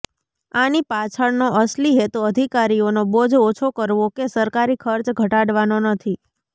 આની પાછળનો અસલી હેતુ અધિકારીઓનો બોજ ઓછો કરવો કે સરકારી ખર્ચ ઘટાડવાનો નથી